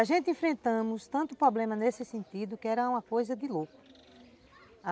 A gente enfrentamos tantos problemas nesse sentido que era uma coisa de louco.